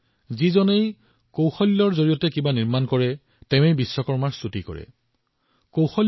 যিয়ে নিজৰ দক্ষতাৰে সৃষ্টি কৰে সৃজন কৰে লাগিলে সেয়া চিলাই এম্ব্ৰইডাৰী ছফ্টৱেৰ বা উপগ্ৰহেই হওক সকলোবোৰ ভগৱান বিশ্বকৰ্মাৰ প্ৰকাশ